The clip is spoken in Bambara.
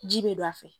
Ji bɛ don a fɛ